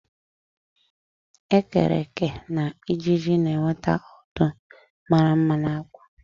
ekereke na ịjiji na-eweta ndụ mara mma na akwa